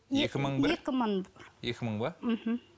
екі мың ба мхм